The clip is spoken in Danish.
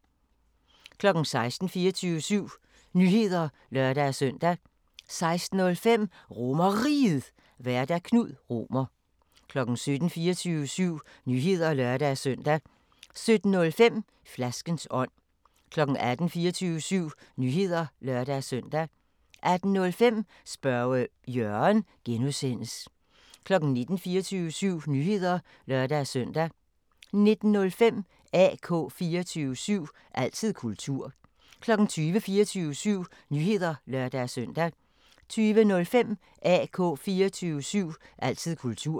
16:00: 24syv Nyheder (lør-søn) 16:05: RomerRiget, Vært: Knud Romer 17:00: 24syv Nyheder (lør-søn) 17:05: Flaskens ånd 18:00: 24syv Nyheder (lør-søn) 18:05: Spørge Jørgen (G) 19:00: 24syv Nyheder (lør-søn) 19:05: AK 24syv – altid kultur 20:00: 24syv Nyheder (lør-søn) 20:05: AK 24syv – altid kultur